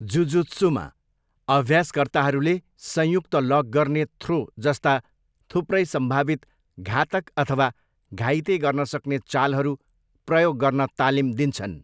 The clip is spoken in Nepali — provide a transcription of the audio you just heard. जुजुत्सूमा, अभ्यासकर्ताहरूले संयुक्त लक गर्ने थ्रोजस्ता थुप्रै सम्भावित घातक अथवा घाइते गर्नसक्ने चालहरू प्रयोग गर्न तालिम दिन्छन्।